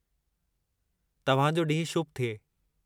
तव्हां जो ॾींहुं शुभ थिए।